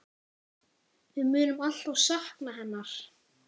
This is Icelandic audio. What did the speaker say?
Við munum alltaf sakna hennar.